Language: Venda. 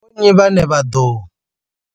Ndi vho nnyi vhane vha ḓo.